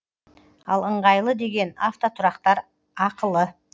ал ыңғайлы деген автотұрақтар ақылы